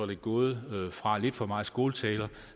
det gået fra lidt for meget skåltaler